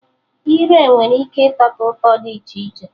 Ire nwere ike ịtọta ụtọ dị iche iche